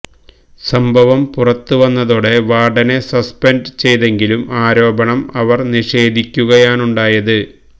സംഭവം പുറത്ത് വന്നതോടെ വാര്ഡനെ സസ്പെന്റ് ചെയ്തെങ്കിലും ആരോപണം അവര് നിഷേധിക്കുകയാണുണ്ടായത്